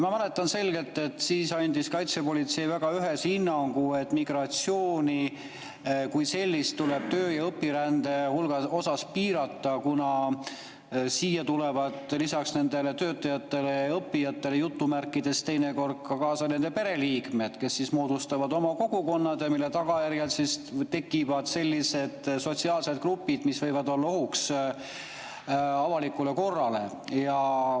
Ma mäletan selgelt, et siis andis kaitsepolitsei väga ühese hinnangu, et migratsiooni kui sellist tuleb töö‑ ja õpirände puhul piirata, kuna siia tulevad lisaks nendele "töötajatele" ja "õppijatele" teinekord ka nende pereliikmed, kes moodustavad oma kogukonnad, mille tagajärjel tekivad sellised sotsiaalsed grupid, mis võivad olla ohuks avalikule korrale.